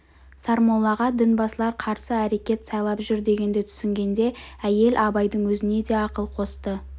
сармоллаға дінбасылар қарсы әрекет сайлап жүр дегенді түсінгенде әйел абайдың өзіне де ақыл қосты